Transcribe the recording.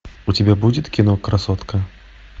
у тебя будет кино красотка